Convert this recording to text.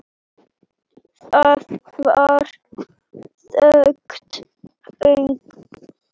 Það var þungt högg.